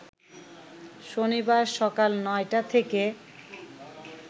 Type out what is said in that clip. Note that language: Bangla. শনিবার সকাল ৯টা থেকে